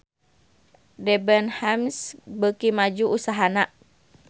Debenhams beuki maju usahana